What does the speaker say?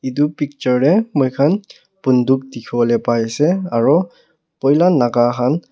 etu picture te moi khan bunduk dekhi bole pari se aru poila Naga khan.